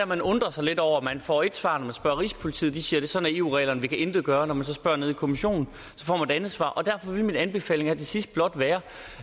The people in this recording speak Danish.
man undrer sig lidt over man får ét svar når man spørger rigspolitiet de siger sådan er eu reglerne vi kan intet gøre og når man så spørger nede i kommissionen får man et andet svar derfor vil min anbefaling her til sidst blot være